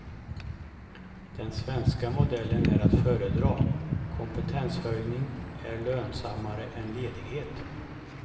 Den svenska modellen är att föredra, kompetenshöjning är lönsammare än ledighet.